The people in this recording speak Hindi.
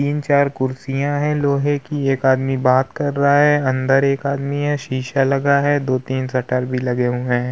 तीन चार कुर्सिया हैं लोहे की एक आदमी बात कर रहा है अंदर एक आदमी है शीशा लगा है। दो तीन शटर भी लगे हुए हैं।